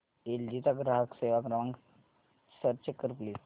L G चा ग्राहक सेवा क्रमांक सर्च कर प्लीज